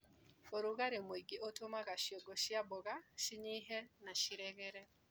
ũrũgarĩ mũingĩ ũtũmaga ciongo cia mboga cinyihe na ciregere.